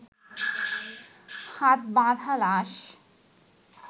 হাত বাঁধা লাশ